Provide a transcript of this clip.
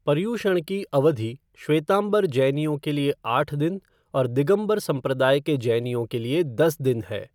पर्यूषण की अवधि श्वेतांबर जैनियों के लिए आठ दिन और दिगंबर संप्रदाय के जैनियों के लिए दस दिन है।